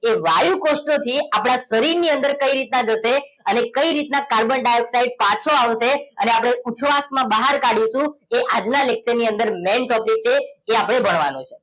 એ વાયુકોષોથી આપણા શરીરની અંદર કઈ રીતે જશે અને કઈ રીતના કાર્બન ડાયોક્સાઇડ પાછો આવશે અને આપણે ઉછવાસમાં બહાર કાઢીશું એ આજના lecture ની અંદર main topic છે એ આપણે ભણવાનો છે